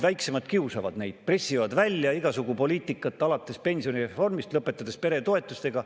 Väiksemad kiusavad neid, pressivad välja igasugu poliitikat alates pensionireformist ja lõpetades peretoetustega.